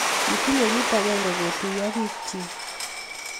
kitinye kiit akenge kotuyo biikchin